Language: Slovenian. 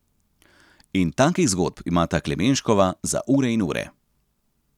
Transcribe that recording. In takih zgodb imata Klemenškova za ure in ure.